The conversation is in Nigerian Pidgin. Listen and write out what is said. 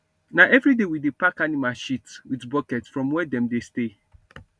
na everyday we dey pack animal shit with bucket from where dem dey stay